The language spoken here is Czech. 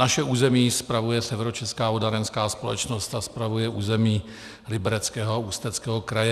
Naše území spravuje Severočeská vodárenská společnost a spravuje území Libereckého a Ústeckého kraje.